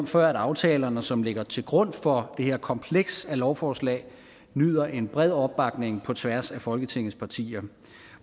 for at aftalerne som ligger til grund for det her kompleks af lovforslag nyder en bred opbakning på tværs af folketingets partier